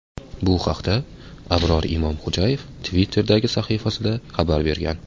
Bu haqda Abror Imomxo‘jayev Twitter’dagi sahifasida xabar bergan .